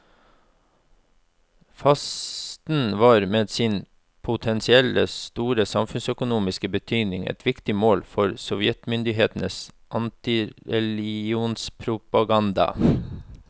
Fasten var med sin potensielt store samfunnsøkonomiske betydning et viktig mål for sovjetmyndighetenes antireligionspropaganda.